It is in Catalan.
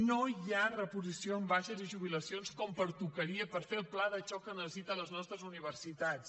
no hi ha reposició en baixes i jubilacions com pertocaria per fer el pla de xoc que necessiten les nostres universitats